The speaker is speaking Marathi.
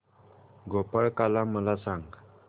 गोपाळकाला मला सांग